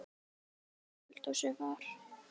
Inni í eldhúsi var